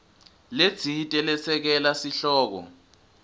letsite lesekela sihloko